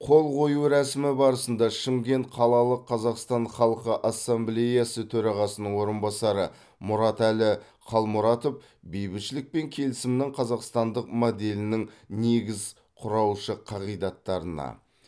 қол қою рәсімі барысында шымкент қалалық қазақстан халқы ассамблеясы төрағасының орынбасары мұратәлі қалмұратов бейбітшілік пен келісімнің қазақстандық моделінің негіз құраушы қағидаттарына